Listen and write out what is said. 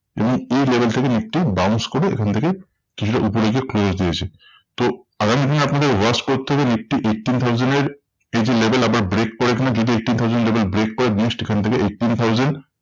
এবং এই level থেকে নিফটি bounce করে এখান থেকে কিছুটা ওপরে গিয়ে close দিয়েছে। তো আগামী দিনে আপনাদের watch করতে হবে নিফটি eighteen thousand এর এই যে level আপনার break করে এখানে যদি eighteen thousand level break করে জিনিসটি এখান থেকে eighteen thousand